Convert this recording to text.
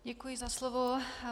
Děkuji za slovo.